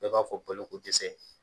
Bɛɛ b'a fɔ bolokodɛsɛ